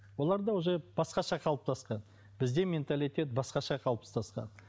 оларда уже басқаша қалыптасқан бізде менталитет басқаша қалыптасқан